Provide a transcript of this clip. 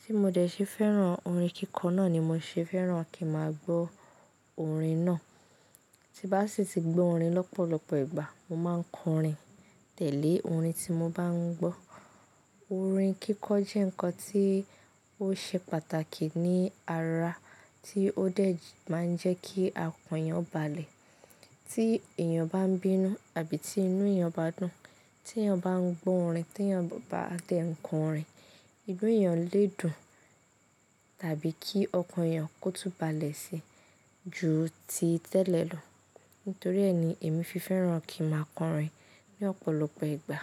Tí mo dẹ̀ ṣe fẹ́ràn orin kíkọ náà ni mo ṣe fẹ́ràn kí máa gbọ́ orin náà. Tí'n bá sì ti gbọ́ orin lọ́pọ̀lọpọ̀ ìgbà, mo máa ń kọrin tẹ̀lé orin tí mo bá ń gbọ́. Orin kíkọ jẹ́ nǹkan tí ó ṣe pàtàkì ní ara, tí ó dẹ̀ máa ń jẹ́ kí ọkàn èèyàn balẹ̀. Tí èèyàn bá ń bínú àbí tí inú èèyàn o bá dùn, tí èèyàn bá ń gbọ́ orin, tí èèyàn bá lè kọ orin, inu èèyàn lè dùn tàbí kí ọkàn èèyàn kó túnbalẹ̀ síi ju ti tẹ́lẹ̀ lọ. Nítorí ẹ́ ni èmi fi fẹ́ràn kí màá kọrin ní ọ̀pọ̀lọpọ̀ ìgbà.